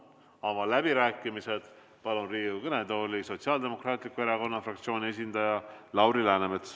Avan läbirääkimised ja palun Riigikogu kõnetooli Sotsiaaldemokraatliku Erakonna fraktsiooni esindaja Lauri Läänemetsa.